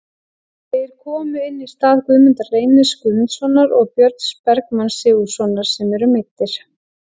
Þeir komu inn í stað Guðmundar Reynis Gunnarssonar og Björns Bergmanns Sigurðarsonar sem eru meiddir.